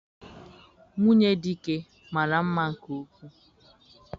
Nwunye Dike mara mma nke ukwuu.